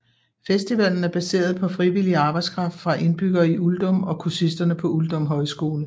Festivalen er baseret på frivillig arbejdskraft fra indbyggerne i Uldum og kursisterne på Uldum Højskole